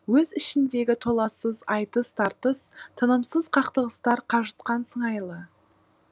өз ішіндегі толассыз айтыс тартыс тынымсыз қақтығыстар қажытқан сыңайлы